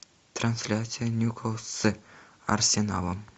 трансляция ньюкасл с арсеналом